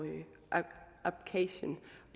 abkhasien